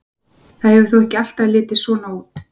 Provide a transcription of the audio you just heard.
Það hefur þó ekki alltaf litið svona út.